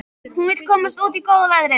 Hún vill komast út í góða veðrið.